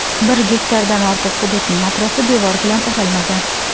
Bir gektardan ortiq hududning atrofi devor bilan o‘ralmagan.